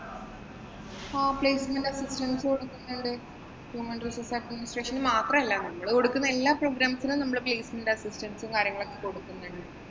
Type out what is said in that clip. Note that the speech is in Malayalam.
ആഹ് placement assistance കൊടുക്കുന്നുണ്ട്. human resource administration ന് മാത്രമല്ല നമ്മള് കൊടുക്കുന്ന എല്ലാ programs നും നമ്മള് placement assistance ഉം, കാര്യങ്ങളും ഒക്കെ കൊടുക്കുന്നുണ്ട്.